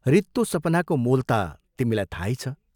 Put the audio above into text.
रित्तो सपनाको मोल ता तिमीलाई थाहै छ।